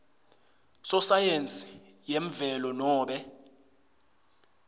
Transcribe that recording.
sosayensi yemvelo nobe